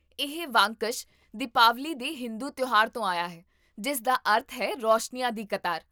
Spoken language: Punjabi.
ਇਹ ਵਾਕੰਸ਼ 'ਦੀਪਾਵਲੀ' ਦੇ ਹਿੰਦੂ ਤਿਉਹਾਰ ਤੋਂ ਆਇਆ ਹੈ, ਜਿਸ ਦਾ ਅਰਥ ਹੈ 'ਰੋਸ਼ਨੀਆਂ ਦੀ ਕਤਾਰ'